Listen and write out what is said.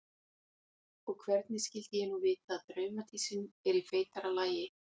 Og hvernig skyldi ég nú vita að draumadísin er í feitara lagi?